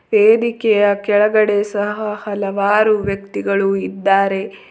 ವೇದಿಕೆಯ ಕೆಳಗಡೆ ಸಹ ಹಲವಾರು ವ್ಯಕ್ತಿಗಳು ಇದ್ದಾರೆ.